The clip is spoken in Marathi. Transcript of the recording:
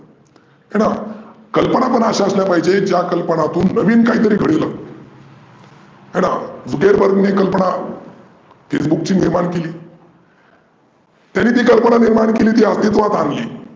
हे ना कल्पना पण अशा असल्या पाहिजेत ज्या कल्पनातुन नविन काहीतरी घढीवल हे ना झुकेबर्गची कल्पना फेसबुकची निर्मिती केली तरी ती कल्पना केली ती अस्तीत्वात आनली.